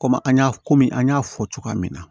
Komi an y'a komi an y'a fɔ cogoya min na